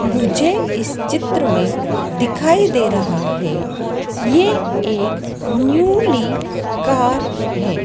मुझे इस चित्र में दिखाई दे रहा है ये एक न्यू ली कार है।